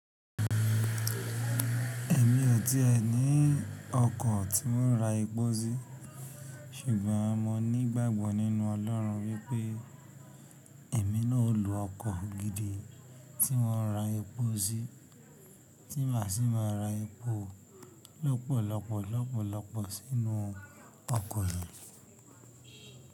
Èmi ò tí è ní ọkọ̀ tí ó ń ra epo sí, ṣùgbọ́n mo nígbàgbọ́ nínú Ọlọ́run wípé èmi náà ó lo ọkọ̀ gidi tí wọ́n ra epo sí tí màá sì máa ra epo lọ́pọ̀lọpọ̀ lọ́pọ̀lọpọ̀ sínú ọkọ̀ yẹn.